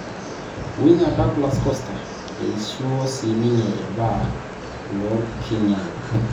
Winga Douglas Costa eishiuo sininye irbaa lonkirnyany.